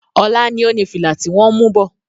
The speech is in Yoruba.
Ọlá ni ó ní fìlà ti wọn ń mú bọ̀.